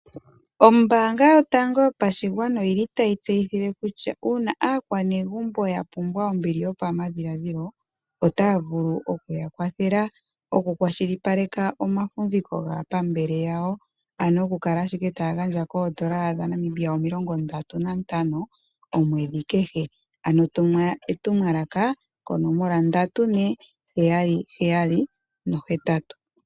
Ombaanga yotango yopashigwana oyili tayi tseyitha kutya uuna aakwanegumbo ombili yopamadhiladhilo , otaya vulu okuya kwathela okukwashilipaleka omafumviko gaapambele yawo ano okukala ashike taya gandja N$50 komwedhi kehe. Tuma etumwalaka konomola 34778.